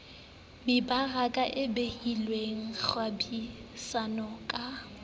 mebaraka e bulehileng kgwebisano ka